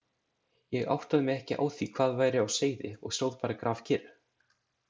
Ég áttaði mig ekki á því hvað væri á seyði og stóð bara grafkyrr.